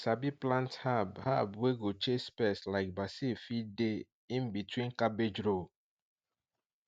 make you sabi plant herb herb wey go chase pest like basil fit dey in between cabbage row